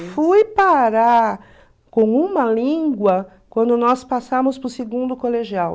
fui parar com uma língua quando nós passamos para o segundo colegial.